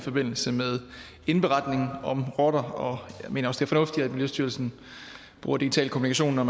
forbindelse med indberetning om rotter og jeg mener også fornuftigt at miljøstyrelsen bruger digital kommunikation når